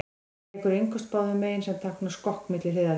Hann tekur innköst báðum megin, sem táknar skokk milli hliðarlína.